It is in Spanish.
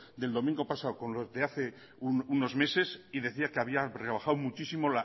del domingo pasado con el de hace unos meses y decía que había rebajado muchísimo